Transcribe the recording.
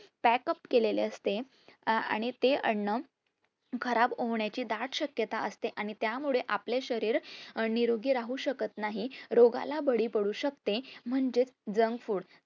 packup केलेले असते. आणि तेअन्न खराब होण्याची दाट शक्यता असते, त्या मुळे आपले शरीर निरोगी राहू शकत नाही रोगाला बाळी पडू शकते म्हणजे junk food